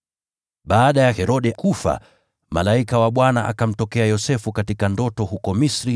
Baada ya Herode kufa, malaika wa Bwana akamtokea Yosefu katika ndoto huko Misri